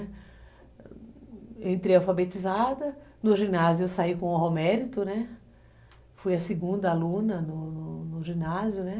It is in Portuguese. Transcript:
Eu entrei alfabetizada, no ginásio eu saí com honra ao mérito, né, fui a segunda aluna no ginásio, né.